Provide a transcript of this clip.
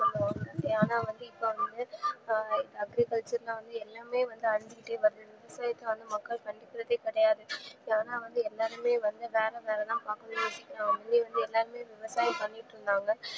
ஆனா இப்போவந்து அஹ் agriculture ல வந்து எல்லாமே வந்து அளிஞ்சுகிட்டே வருது இத வந்து மக்கள் கண்டுக்குரதே கிடையாது ஏன்னா வந்து எல்லாருமே வந்து வேற வேலைதா முன்னலாம் எல்லாருமே விவசாயம்தா பண்ணிட்டு இருந்தாங்க